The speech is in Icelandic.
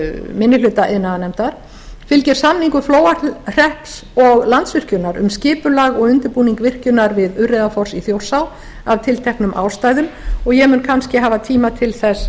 minni hluta iðnaðarnefndar fylgir samningur flóahrepps og landsvirkjunar um skipulag og undirbúning virkjunar við urriðafoss í þjórsá af tilteknum ástæðum og ég mun kannski hafa tíma til þess